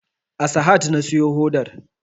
A sahad na siyo hodar